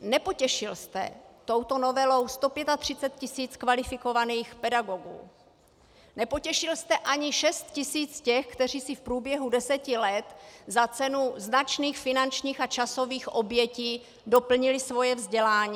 Nepotěšil jste touto novelou 135 tisíc kvalifikovaných pedagogů, nepotěšil jste ani 6 tisíc těch, kteří si v průběhu deseti let za cenu značných finančních a časových obětí doplnili své vzdělání.